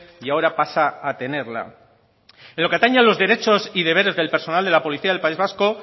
y ahora pasa a tenerla en lo que atañe a los derechos y deberes del personal de la policía del país vasco